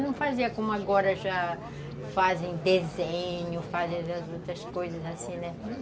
Não fazia como agora já fazem desenho, fazem as outras coisas assim, né?